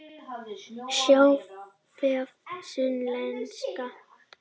Sjá vef Sunnlenska